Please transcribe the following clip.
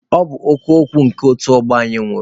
Ọ bụ ọkụ ekwe nke otu ọgbọ anyị nwụrụ.